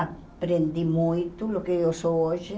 Aprendi muito do que eu sou hoje.